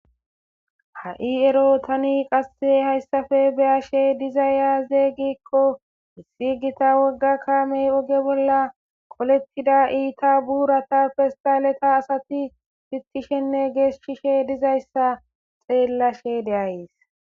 ha'i ero tani qasse hayssafe beyashe dizay azey gikko issi gita wogga kaamey oge bolla qolettida iita buurata festaleta asati fitishenne geeshshishe dizayssa xeellashe de'ays